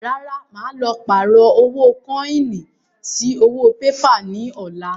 Rárá, màá lọ pààrọ̀ kọ́ínì sí owó pépà ni ọ̀la